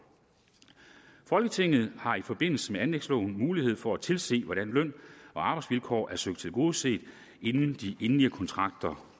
folketinget har i forbindelse med anlægsloven mulighed for at tilse hvordan løn og arbejdsvilkår er søgt tilgodeset inden de endelige kontrakter